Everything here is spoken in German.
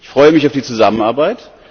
Ich freue mich auf die Zusammenarbeit.